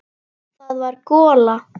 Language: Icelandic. Það var gola.